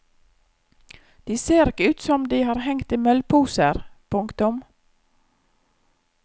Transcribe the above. De ser ikke ut som om de har hengt i møllposer. punktum